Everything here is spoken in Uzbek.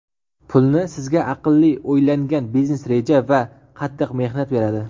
Pulni sizga aqlli o‘ylangan biznes reja va qattiq mehnat beradi.